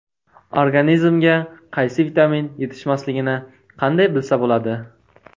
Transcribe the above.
Organizmga qaysi vitamin yetishmasligini qanday bilsa bo‘ladi?.